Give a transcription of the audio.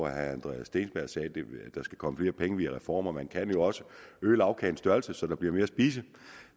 herre andreas steenberg sagde at der skal komme flere penge via reformer man kan jo også øge lagkagens størrelse så der bliver mere at spise